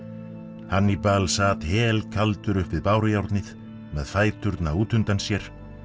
Hannibal sat helkaldur upp við bárujárnið með fæturna út undan sér